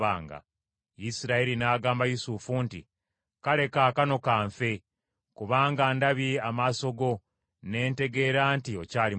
Isirayiri n’agamba Yusufu nti, “Kale kaakano ka nfe, kubanga ndabye amaaso go ne ntegeera nti okyali mulamu.”